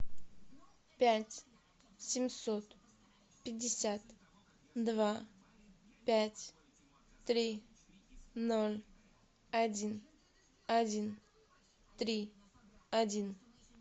пять семьсот пятьдесят два пять три ноль один один три один